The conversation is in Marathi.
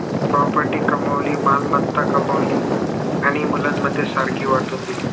property कमवली मालमत्ता कमवली आणि मुलांमध्ये सारखी वाटून दिली